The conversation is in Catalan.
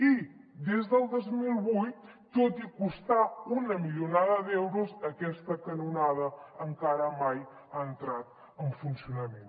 i des del dos mil vuit tot i costar una milionada d’euros aquesta canonada encara mai ha entrat en funcionament